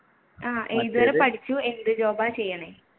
ആഹ് ഏതു വരെ പഠിച്ചു എന്ത് job ആണ് ചെയ്യണേ